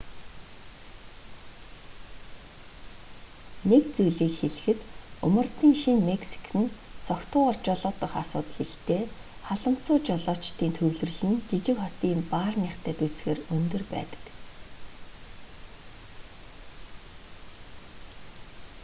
нэг зүйлийг хэлэхэд умардын шинэ мексик нь согтуугаар жолоодох асуудал ихтэй халамцуу жолоочдын төвлөрөл нь жижиг хотын баарныхтай дүйцэхээр өндөр байдаг